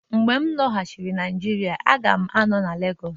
Mgbe m lọghachiri na Naijiria, a ga m anọ na Lagosu